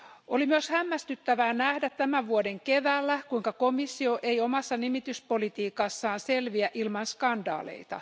Oli myös hämmästyttävää nähdä tämän vuoden keväällä, kuinka komissio ei omassa nimityspolitiikassaan selviä ilman skandaaleita.